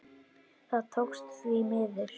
Það tókst, því miður.